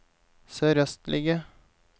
sørøstlige